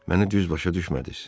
məni düz başa düşmədiz?